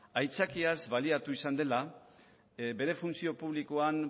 aitzakiaz baliatu izan dela bere funtzio publikoan